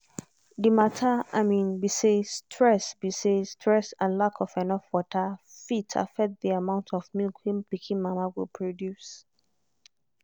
the matter be say stress be say stress and lack of enough water fit affect the amount of milk wey pikin mama go produce.